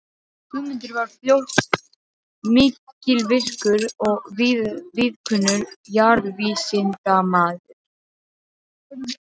Guðmundur varð fljótt mikilvirkur og víðkunnur jarðvísindamaður.